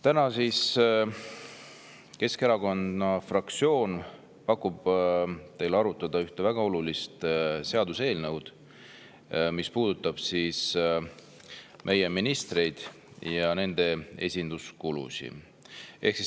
Täna pakub Keskerakonna fraktsioon teile arutada ühte väga olulist seaduseelnõud, mis puudutab meie ministreid ja nende esinduskulusid.